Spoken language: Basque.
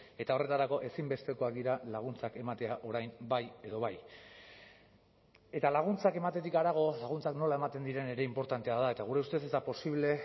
eta horretarako ezinbestekoak dira laguntzak ematea orain bai edo bai eta laguntzak ematetik harago laguntzak nola ematen diren ere inportantea da eta gure ustez ez da posible